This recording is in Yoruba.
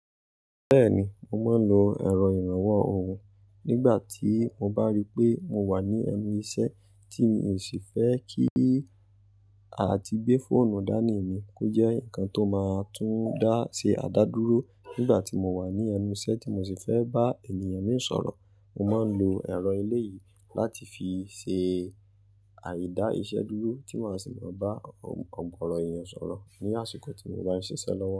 Bẹ́ẹ̀ni, mo máa ń lo ẹ̀rọ ìrànwọ́ ohùn nígbà tí mo bá rí pé mo wà ní ẹnu iṣẹ́ tí mi ò sì fẹ́ kí a ti gbé fóònù dání mi kó jẹ́ ǹkan tó máa tún dá ṣe àdá dúró nígbà tí mo wà ní ẹnu iṣẹ́ tí mo sì fẹ́ bá ènìyàn mìí sọ̀rọ̀. Mo máa ń lo ẹ̀rọ eléyìí láti fi ṣe àídá iṣẹ́ dúró tí màá sì máa bá ó gòrò èyàn sọ̀rọ̀ ní àsìkò tí mo bá ń ṣiṣẹ́ lọ́wọ́